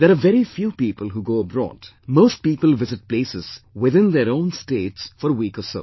There are very few people who go abroad; most people visit places within their own states for a week or so